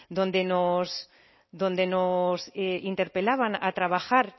donde nos interpelaban a trabajar